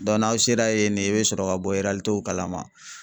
n'aw sera yen ne i bɛ sɔrɔ ka bɔ kalama.